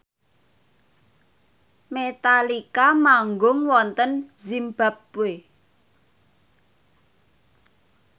Metallica manggung wonten zimbabwe